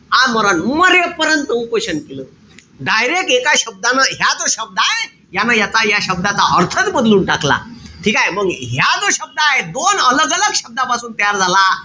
आमरण, मरे पर्यंत उपोषण केलं. Direct एका शब्दानं ह्याच शब्दय. यान याचा या शब्दाचा अर्थच बदलून टाकला. ठीकेय? मंग ह्या जो original शब्द हाये. दोन शब्दापासून तयार झाला.